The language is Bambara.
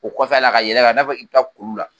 O kɔfɛ la ka yɛlɛ ka i n'a fɔ i bɛ taa kulu la.